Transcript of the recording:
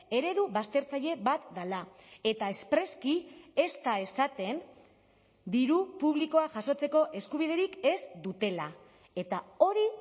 eredu baztertzaile bat dela eta espreski ez da esaten diru publikoa jasotzeko eskubiderik ez dutela eta hori